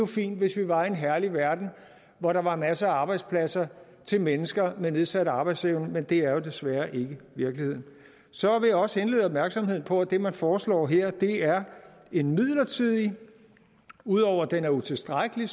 fint hvis vi var i en herlig verden hvor der var masser af arbejdspladser til mennesker med nedsat arbejdsevne men det er jo desværre ikke virkeligheden så vil jeg også henlede opmærksom på at det man foreslår her er en midlertidig og ud over det utilstrækkelig